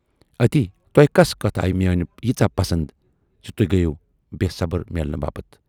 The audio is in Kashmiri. اَتی تۅہہِ کۅسہٕ کتھ آیہِ میٲنۍ ییٖژاہ پسند زِ توہۍ گٔیۍوٕ بے صبر میلنہٕ باپتھ؟